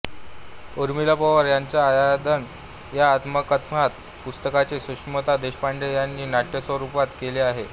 ऊर्मिला पवार यांच्या आयदान या आत्मकथनात्मक पुस्तकाचे सुषमा देशपांडे यांनी नाट्यरूपांतर केले आहे